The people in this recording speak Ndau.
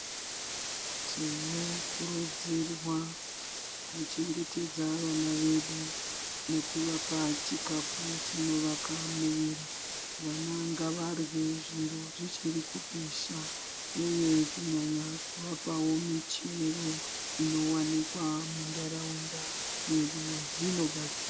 Tinokurudzirwa kuchengetedza vana vedu nekuvapa chikafu chinovaka muviri. Vana ngavarye zviro zvichirikupisha, uye kunyanya kuvapavo michero inovanikwa munharaunda mwedu dzinobatsira.